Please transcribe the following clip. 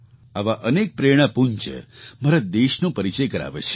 આવાં અનેક પ્રેરણાપુંજ મારા દેશનો પરિચય કરાવે છે